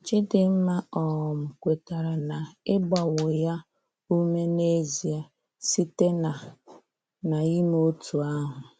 Chidimma um kwetara na ị gbawo ya ume n'ezie, sitena na-ịme otú ahụ.